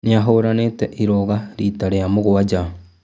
Nĩahũranĩte irũga rita rĩa mũgwanja